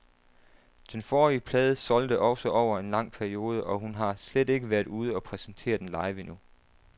Den forrige plade solgte også over en lang periode, og hun har slet ikke været ude og præsentere den live endnu.